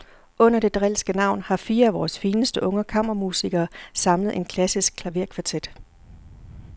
Under det drilske navn har fire af vores fineste unge kammermusikere samlet en klassisk klaverkvartet.